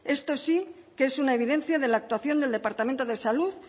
esto sí que es una evidencia de la actuación del departamento de salud